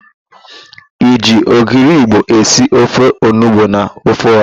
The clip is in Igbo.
E ji ogiri igbo esi ofe onugbo na ofe ọha.